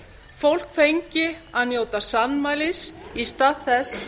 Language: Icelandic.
fólk fengi að njóta sannmælis í stað þess